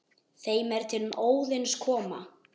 þeim er til Óðins koma